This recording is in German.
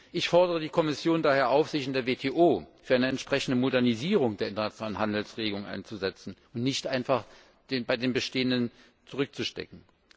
Ich fordere die Kommission daher auf, sich in der WTO für eine entsprechende Modernisierung der internationalen Handelsregeln einzusetzen und nicht einfach bei den bestehenden zurückzustecken.